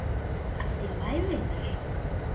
Allt í lagi, vinur.